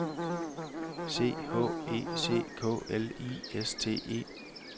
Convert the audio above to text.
C H E C K L I S T E